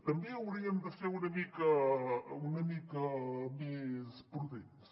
també hauríem de ser una mica més prudents